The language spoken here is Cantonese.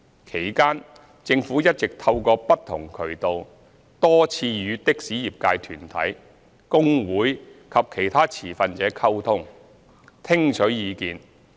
其間，政府一直透過不同渠道多次與的士業界團體、工會及其他持份者溝通，聽取意見。